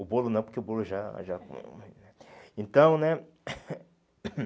O bolo não, porque o bolo já já... Então, né?